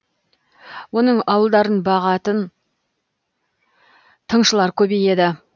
оның ауылдарын бағатын тыңшылар көбейеді